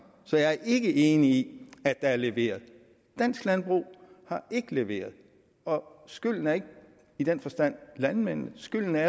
så jeg er ikke enig i at der er leveret dansk landbrug har ikke leveret og skylden er ikke i den forstand landmændenes skylden er